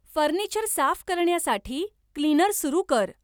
furniture साफ करण्यासाठी cleaner सुरु कर